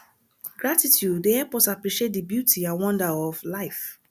gratitude dey help us appreciate di beauty and wonder of life